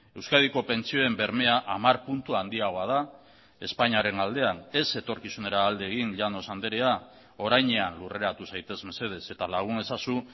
euskadiko pentsioen bermea hamar puntu handiagoa da espainiaren aldean ez etorkizunera alde egin llanos andrea orainean lurreratu zaitez mesedez eta lagun ezazu